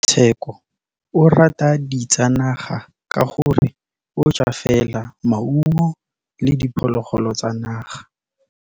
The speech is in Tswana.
Tshekô o rata ditsanaga ka gore o ja fela maungo le diphologolo tsa naga.